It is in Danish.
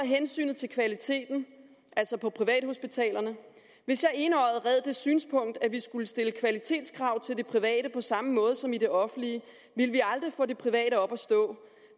hensynet til kvaliteten altså på privathospitalerne hvis jeg enøjet red det synspunkt at vi skulle stille kvalitetskrav til det private på samme måde som i det offentlige ville vi aldrig få det private op at stå